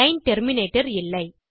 line terminator இல்லை